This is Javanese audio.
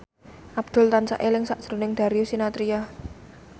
Abdul tansah eling sakjroning Darius Sinathrya